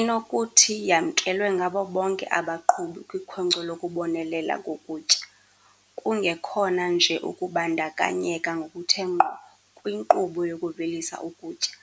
Inokuthi yamkelwe ngabo bonke abaqhubi kwikhonkco lokubonelela ngokutya, kungekhona nje ukubandakanyeka ngokuthe ngqo kwinkqubo yokuvelisa ukutya,